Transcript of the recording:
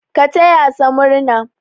Ka taya sa murna!